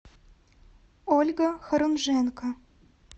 ольга хорунженко